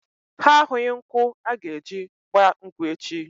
Ha ahụghị nkwụ aga-eji gba nkwụ echi.